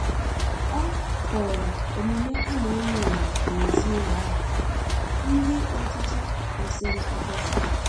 ọ kooro omume ana enyo enyo n'ezi ụlọ ahụ ndi ochichi kwesiri ekwesi